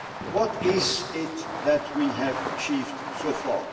What is it that we have achieved so far?